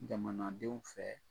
Jamanadenw fɛ